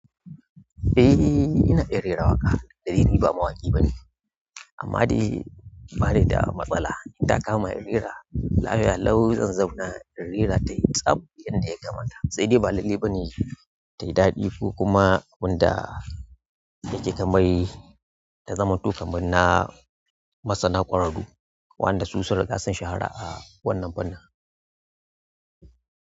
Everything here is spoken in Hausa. Eh, ina iya rera waƙa. Da dai ni ba mawaƙi bane, amma dai bani da matsala intakama in rera. Lafiya lau zan zauna in rera ta tsam yadda ya kamata, sai dai ba lallai bane tayi daɗi ko kuma wanda yake kamar ta zamanto kamar na masana ƙwararru, waɗanda su sun riga sun shahara a wannan fannin.